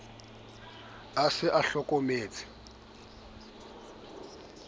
a sa tshwaneng a hlokometseng